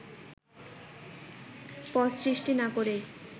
পদ সৃষ্টি না করেই